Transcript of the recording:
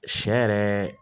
Sɛ yɛrɛ